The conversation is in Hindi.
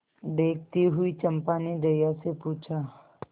देखती हुई चंपा ने जया से पूछा